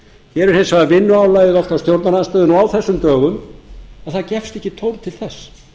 hér er hins vegar vinnuálagið á stjórnarandstöðunni á þessum dögum að það gefst ekki tóm til þess